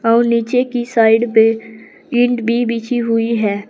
और नीचे की साइड पे ईंट भी बिछी हुई है।